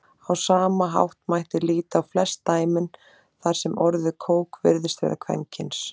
Á sama hátt mætti líta á flest dæmin þar sem orðið kók virðist vera kvenkyns.